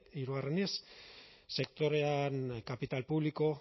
hirugarrenez sektorean kapital publiko